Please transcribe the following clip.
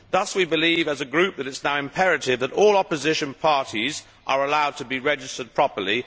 Thus we believe, as a group, that it is now imperative that all opposition parties are allowed to be registered properly.